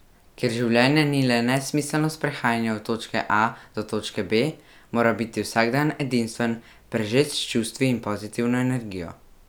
Ker življenje ni le nesmiselno sprehajanje od točke A do točke B, mora biti vsakdan edinstven, prežet s čustvi in pozitivno energijo.